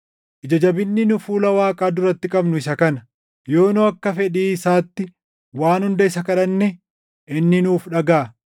Ija jabinni nu fuula Waaqaa duratti qabnu isa kana: yoo nu akka fedhii isaatti waan hunda isa kadhanne inni nuuf dhagaʼa.